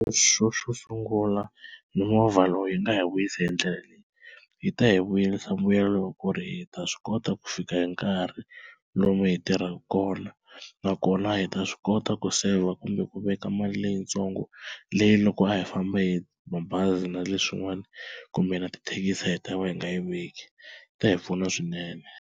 Xo xo sungula mimovha lowu yi nga hi vuyisi hi ndlela leyi, yi ta hi vuyerisa mbuyelo wa ku ri hi ta swi kota ku fika hi nkarhi lomu hi tirhaka kona, nakona hi ta swi kota ku saver kumbe ku veka mali leyitsongo leyi loko a hi famba hi mabazi na leswin'wana kumbe na tithekisi a hi ta va hi nga yi veki yi ta hi pfuna swinene.